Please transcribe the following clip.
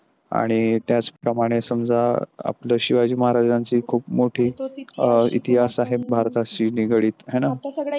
आणि त्याचप्रमाणे समजा आपल्या शिवाजी माहाराजांची खूप मोठी इतिहास आहे भारताची निगडित है ना.